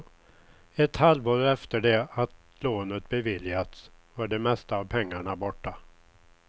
Ett halvår efter det att lånet beviljats var de mesta av pengarna borta.